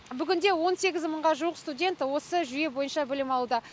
бүгінде он сегіз мыңға жуық студент осы жүйе бойынша білім алуда